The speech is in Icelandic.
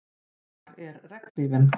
Hvar er regnhlífin?